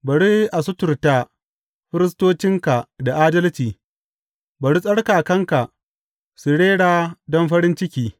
Bari a suturta firistocinka da adalci; bari tsarkakanka su rera don farin ciki.